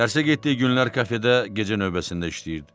Dərsə getdiyi günlər kafedə gecə növbəsində işləyirdi.